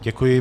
Děkuji.